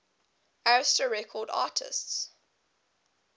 arista records artists